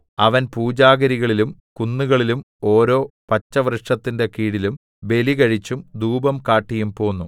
അവൻ പൂജാഗിരികളിലും കുന്നുകളിലും ഓരോ പച്ചവൃക്ഷത്തിന്റെ കീഴിലും ബലി കഴിച്ചും ധൂപം കാട്ടിയും പോന്നു